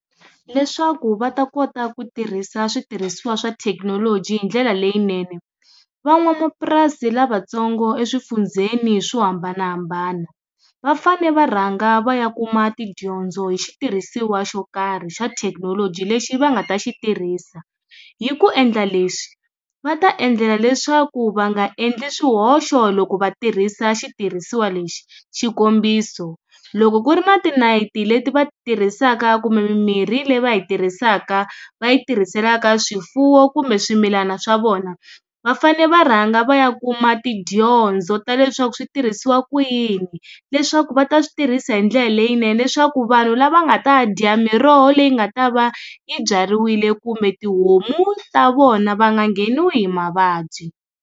Leswaku va ta kota ku tirhisa switirhisiwa swa thekinoloji hi ndlela leyinene van'wamapurasi lavatsongo exifundzheni swo hambanahambana va fane va rhanga va ya kuma tidyondzo hi xitirhisiwa xo karhi xa thekinoloji lexi va nga ta xitirhisiwa hi ku endla leswi va ta endlela leswaku va nga endli swihoxo loko va tirhisa xitirhisiwa lexi xikombiso, loko ku ri na tinayiti leti va ti tirhisaka kumbe mimirhi le va yi tirhisaka va yi tirhiselaka swifuwo kumbe swimilana swa vona va fane va rhanga va ya kuma tidyondzo ta leswaku switirhisiwa ku yini leswaku va ta switirhisa hi ndlela leyinene leswaku vanhu lava nga ta dya miroho leyi nga ta va yi byariwile kumbe tihomu ta vona va nga ngheniwi hi mavabyi.